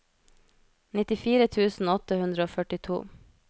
nittifire tusen åtte hundre og førtito